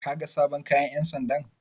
Kaga sabon kaga ƴan sandan?